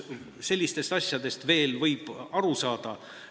Sellistest asjadest võib veel aru saada.